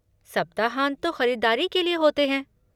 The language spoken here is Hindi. सप्ताहांत तो ख़रीदारी के लिए होते हैं!